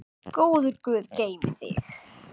Góður guð geymi þig.